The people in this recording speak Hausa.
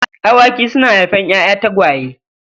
Awaki suna haifar ‘ya’ya tagwaye.